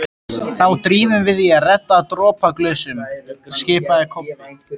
Þá drífum við í að redda dropaglösum, skipaði Kobbi.